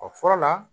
O fɔlɔ la